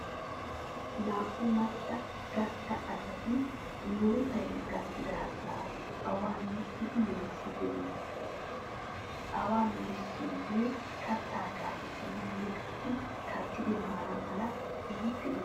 Naa'u macca gastta asati murutay gakkidaagaa awan miccidi melissiiddi beettoosona. Awan melissiyoogee kattaa gaaciissanawunne qassi kattidi maana mala keehippe injjetes.